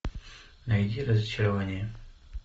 найди разочарование